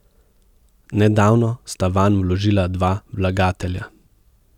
Nedavno sta vanj vložila dva vlagatelja.